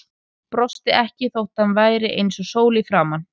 Brosti ekki þó að hann væri eins og sól í framan.